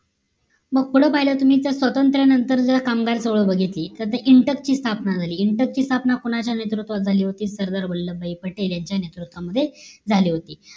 मग पुढं पाहिलं तुम्ही तर स्वतंत्र नंतर जो कामगार चळवळ बघितली तर ती इंटप ची स्थापना झाली इंटप ची स्थापना कोणाच्या नेतृत्वात झाली होती सरदार वल्लभबाई पटेल यांच्या नेतृत्व मध्ये झाली होती